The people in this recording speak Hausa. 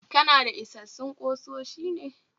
Kanada isassun kusoshi ne?